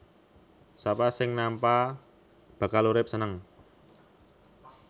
Sapa sing nampa bakal urip seneng